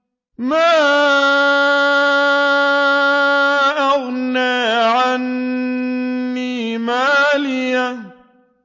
مَا أَغْنَىٰ عَنِّي مَالِيَهْ ۜ